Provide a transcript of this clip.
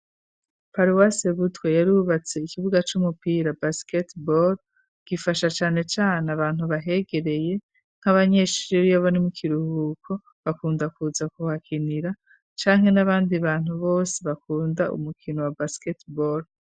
Paruwase Butwe yari wubatse ikibuga c'umupira basketball. Gifasha cane cane abantu bahegereye nk'abanyeshuri babone mo ikiruhuko bakunda kuza kuhakinira canke n'abandi bantu bose bakunda umukino wa basketball.